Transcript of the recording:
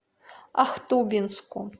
ахтубинску